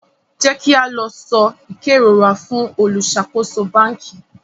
jẹ ki a lọ so ikerora fún oluṣakoso banki